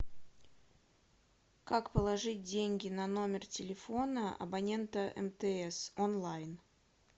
как положить деньги на номер телефона абонента мтс онлайн